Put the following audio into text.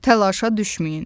Təlaşa düşməyin.